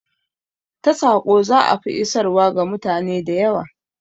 Ta saƙo za'a fi isarwa ga mutane da yawa